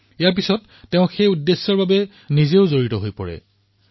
ইয়াৰ পিছত নিজেও ইয়াত সমৰ্পিত হয়